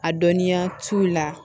A dɔnniya t'u la